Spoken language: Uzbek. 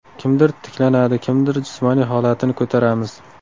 Kimdir tiklanadi, kimnidir jismoniy holatini ko‘taramiz.